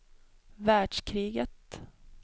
världskriget